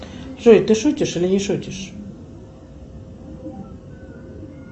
джой ты шутишь или не шутишь